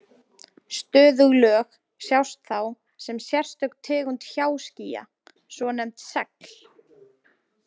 Stöðug lög sjást þá sem sérstök tegund hjáskýja, svonefnd segl.